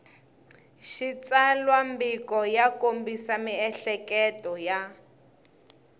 xitsalwambiko ya kombisa miehleketo ya